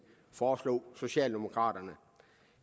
foreslog socialdemokraterne